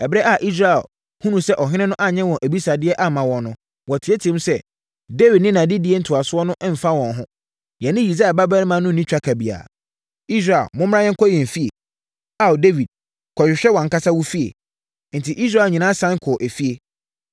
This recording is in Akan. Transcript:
Ɛberɛ a Israel hunuu sɛ ɔhene no anyɛ wɔn abisadeɛ amma wɔn no, wɔteateaam sɛ, “Dawid ne nʼadedie ntoasoɔ no mfa wɔn ho. Yɛne Yisai babarima no nni twaka biara. Israel, momma yɛnkɔ yɛn afie. Ao Dawid, kɔhwehwɛ wʼankasa wo fie.” Enti, Israel nyinaa sane kɔɔ efie.